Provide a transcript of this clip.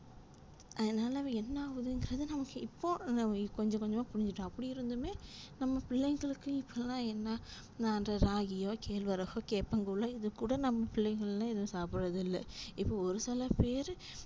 அதுனால என்னாஆகுதுன்றது நமக்கு இப்போ கொஞ்சம் கொஞ்சம்மா புரிஞ்சுடோம் அப்டிஇருந்துமே நம்ம பிள்ளைகளுக்கு இப்போலா என்ன ராகியோ கேழ்வரகோ கேப்பங்கூலோ இதுக்கூட நம்ம பிள்ளைகள்லா எது சாப்டறதுஇல்ல இப்போ ஒருசிலபேர்